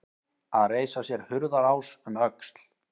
Að reisa sér hurðarás um öxl